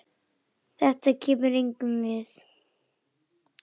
Þetta kemur engum við.